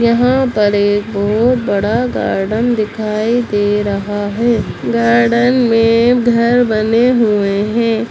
यहाँ पर एक बहुत बड़ा गार्डन दिखाई दे रहा है | गार्डन में घर बने हुए हैं।